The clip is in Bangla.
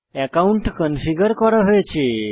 অ্যাকাউন্ট কনফিগার করা হয়েছে